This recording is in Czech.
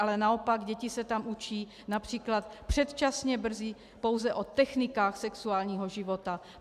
Ale naopak děti se tam učí například předčasně brzy pouze o technikách sexuálního života.